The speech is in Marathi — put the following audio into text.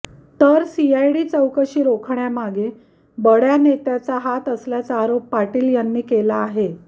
तर सीआयडी चौकशी रोखण्यामागे बड्या नेत्याचा हात असल्याचा आरोप पाटील यांनी केला आहे